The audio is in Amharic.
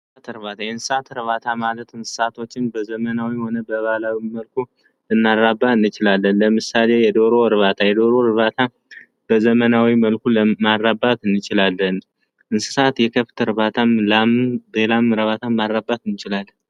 የእንሰሳት እርባታ የእንሰሳት እርባታ ማለት እንስሳቶችን በዘመናዊውም ሆነ በባህላዊ መልኩ ልናራባ እንችላለን ።ለምሳሌ የደሮ እርባታ የደሮ እርባታ በዘመናዊ መልኩ ማራባት እንችላለን። እንስሳት የከብት እርባታም ፣ላምም ልናራባ እንችላለን።